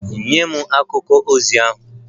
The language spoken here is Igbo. Nye m akwụkwọ ozi ahụ!